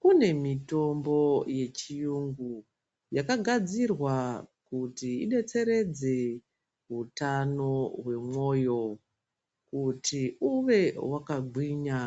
Kune mutombo yechiyungu yakagadzirwa kuti idetseredze utano wemoyo kuti uve wakagwinya